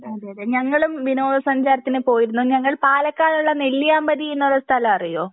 അതെ അതെ ഞങ്ങളും വിനോദ സഞ്ചാരത്തിന് പോയിരുന്നു ഞങ്ങൾ പാലക്കാടുള്ള നെല്ലിയാമ്പതി എന്നുള്ള ഒരു സ്ഥലം അറിയോ